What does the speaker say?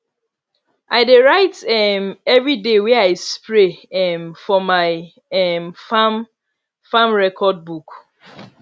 i dey write um every day wey i spray um for my um farm farm record book